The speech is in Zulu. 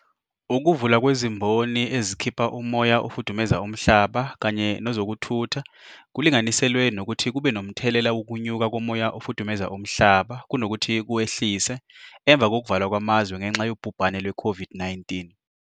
Ukuvulwa kwezimboni ezikhipha umoya ofudumeza umhlaba kanye nezokuthutha kulinganiselwe nokuthi kube nomthelela wokunyuka komoya ofudumeza umhlaba kunokuthi kuwehlise emva kokuvalwa kwamazwe ngenxa yobhubhane lwe-COVID-19.